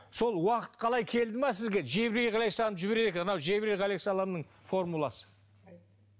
сол уақыт қалай келді ме сізге жебрейіл ғалекиссалам жібереді екен анау жебрейіл ғалекиссалам формуласы